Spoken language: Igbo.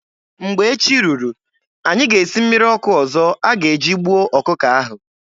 Mgbe echi ruru, anyị ga-esi mmiri ọkụ ọzọ a ga-eji gbuo ọkụkọ ahụ.